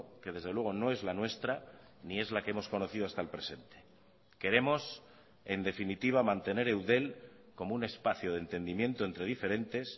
que desde luego no es la nuestra ni es la que hemos conocido hasta el presente queremos en definitiva mantener eudel como un espacio de entendimiento entre diferentes